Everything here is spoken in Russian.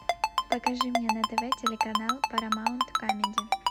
покажи мне на тв телеканал парамаунт камеди